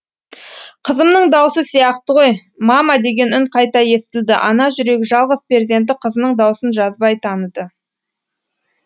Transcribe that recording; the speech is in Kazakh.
қызымның дауысы сияқты ғой мама деген үн қайта естілді ана жүрегі жалғыз перзенті қызының даусын жазбай таныды